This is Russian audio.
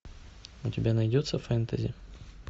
у тебя найдется фэнтези